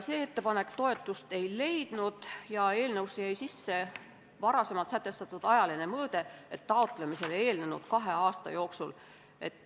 See ettepanek toetust ei leidnud ja eelnõusse jäi sisse varasemalt sätestatud ajaline mõõde "taotlemisele eelnenud kahe aasta jooksul".